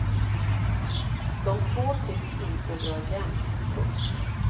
De två tycks inte dra jämnt. punkt